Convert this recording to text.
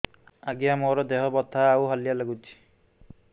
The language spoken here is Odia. ଆଜ୍ଞା ମୋର ଦେହ ବଥା ଆଉ ହାଲିଆ ଲାଗୁଚି